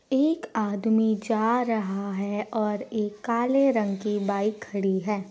एक आदमी जा रहा है और एक काले रंग की बाइक खड़ी है।